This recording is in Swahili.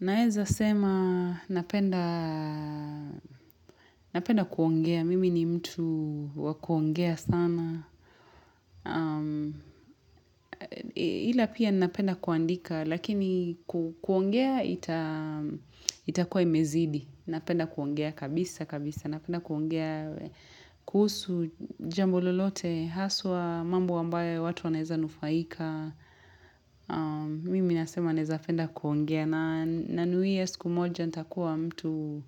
Naeza sema napenda kuongea, mimi ni mtu wa kuongea sana. Hila pia napenda kuandika, lakini kuongea itakua imezidi. Napenda kuongea kabisa kabisa, napenda kuongea kuhusu jambo lolote, haswa mambo ambayo watu wanaeza nufaika. Mimi nasema naeza penda kuongea. Nanuia siku moja nitakuwa mtu